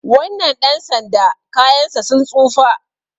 wannan ɗan sanda kayansa sun tsufa